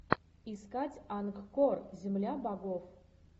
искать ангкор земля богов